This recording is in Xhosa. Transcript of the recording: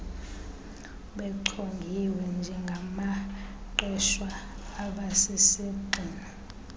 bechongiwe njengabaqeshwa abasisigxina